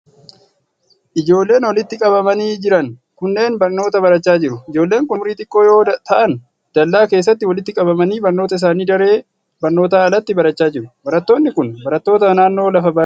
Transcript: Ijoolleen walitti qabamanii jiran kunneen barnoota barachaa jiru. Ijoolleen kun umuriin xiqqoo yoo ta'an, dallaa keessatti walitti qabamanii barnoota isaanii daree barnootaan alatti barachaa jiru. Barattoonni kun, barattoota naannoo lafa baadiyyaa keessa jiraatanii dha.